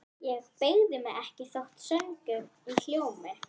Ég beygi mig ekki þótt söngurinn hljómi